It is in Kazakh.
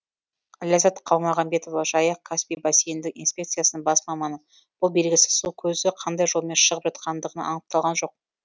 ләззат қалмағанбетова жайық каспий бассейндік инспекциясының бас маманы бұл белгісіз су көзі қандай жолмен шығып жатқандығы анықталған жоқ